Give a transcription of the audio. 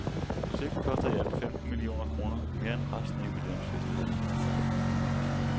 Projektet koster i alt femten millioner kroner, mere end resten af jubilæumfestlighederne til sammen.